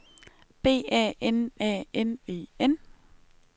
B A N A N E N